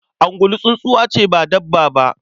Ungulu tsuntsuwa ce ba dabba ba.